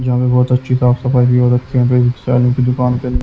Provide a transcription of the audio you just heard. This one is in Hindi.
यहां पे बहोत अच्छी साफ सफाई भी हो रखी है दुकान पे--